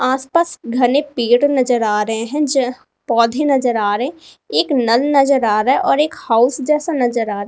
आस पास घने पेड़ नजर आ रहे हैं ज पौधे नजर आरे एक नल नजर आ रहा है और एक हाउस जैसा नजर आ रा --